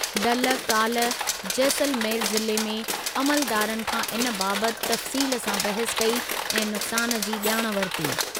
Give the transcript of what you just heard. दल काल्ह जैसलमेर ज़िले में अमलदारनि खां इन बाबति तफ़्सील सां बहसु कई ऐं नुक्सानु जी ॼाण वरिती।